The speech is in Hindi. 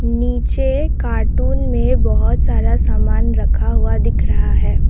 नीचे कार्टून में बहुत सारा सामान रखा हुआ दिख रहा है।